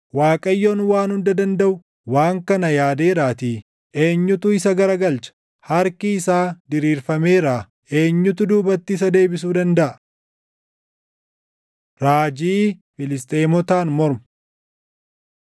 Waaqayyoon Waan Hunda Dandaʼu waan kana yaadeeraatii, eenyutu isa garagalcha? Harki isaa diriirfameeraa; eenyutu duubatti isa deebisuu dandaʼa? Raajii Filisxeemotaan Mormu